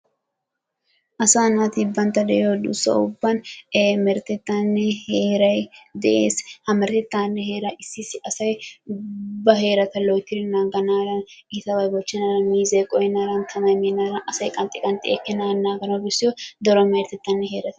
Asa naati bantta de'iyo duussa ubban he meretettaninne heeray de'ees, meretettanne issi heeraa asay ba heerta loyttidi nangganayo itabay bochchenaadan, tamay meenaadan asay qanxxxi qanxxi ekkenaadan naaganawu bessiyoy dolla meretettanne heerata.